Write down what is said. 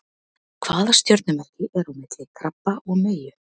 Hvaða stjörnumerki er á milli krabba og meyju?